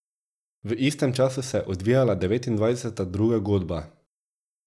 V istem času se je odvijala devetindvajseta Druga godba.